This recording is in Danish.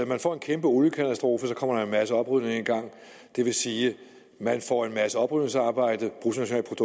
man får en kæmpe oliekatastrofe kommer der en masse oprydning i gang og det vil sige at man får en masse oprydningsarbejde